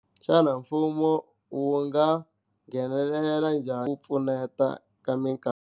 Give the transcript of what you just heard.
Xana mfumo wu nga nghenelela njhani wu pfuneta ka minkarhi.